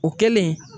O kɛlen